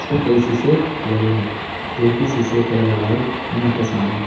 कई सीसे लगे हैं जो कि सीसे का कलर है व्हाइट एंड हल्का आसमानी--